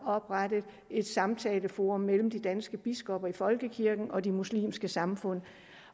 oprettet et samtaleforum mellem de danske biskopper i folkekirken og de muslimske samfund